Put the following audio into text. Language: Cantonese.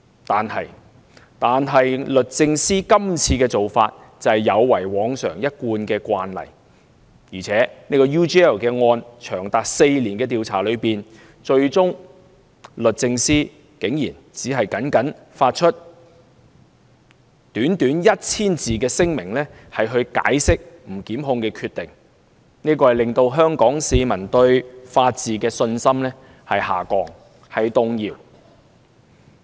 但是，律政司今次的做法有違往常一貫慣例，而且在 UGL 案長達4年的調查終結之後，律政司竟然只發出短短 1,000 字的聲明解釋不檢控的決定，令香港市民對法治的信心下降，甚至動搖。